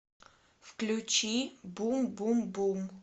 включи бум бум бум